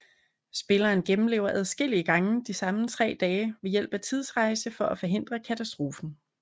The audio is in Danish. Spilleren gennemlever adskillige gange de samme tre dage ved hjælp af tidsrejse for at forhindre katastrofen